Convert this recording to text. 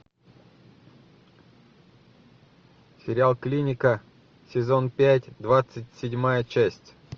сериал клиника сезон пять двадцать седьмая часть